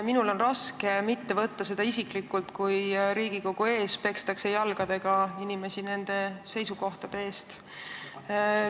Minul on raske mitte isiklikult võtta seda, kui Riigikogu ees pekstakse jalgadega inimesi nende seisukohtade eest.